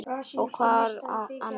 Og hvor á annan.